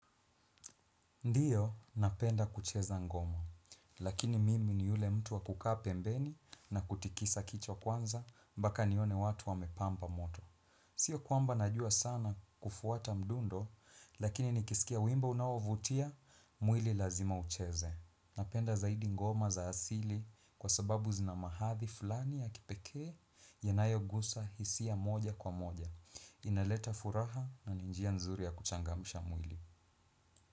Ndiyo, napenda kucheza ngoma, lakini mimi ni yule mtu wa kukaa pembeni na kutikisa kicho kwanza, mpaka nione watu wamepampa moto. Sio kwamba najua sana kufuata mdundo, lakini nikisikia wimbo unaovutia, mwili lazima ucheze. Napenda zaidi ngoma za asili kwa sababu zinamahathi fulani ya kipekee, yanayo gusa hisia moja kwa moja. Inaleta furaha naninjia nzuri ya kuchangamisha mwili.